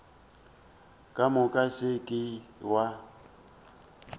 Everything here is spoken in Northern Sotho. ka moka se ke wa